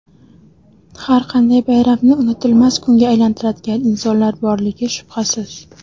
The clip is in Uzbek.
Har qanday bayramni unutilmas kunga aylantiradigan insonlar borligi shubhasiz.